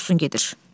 Dursun gedir.